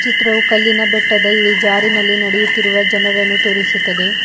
ಈ ಚಿತ್ರವೂ ಕಲ್ಲಿನ ಬೆಟ್ಟದ ಇಳಿಜಾರಿನಲ್ಲಿ ನಡೆಯುತ್ತಿರುವ ಜನರನ್ನು ತೋರಿಸುತ್ತದೆ.